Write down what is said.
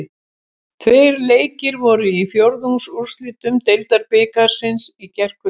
Tveir leikir voru í fjórðungsúrslitum Deildabikarsins í gærkvöld.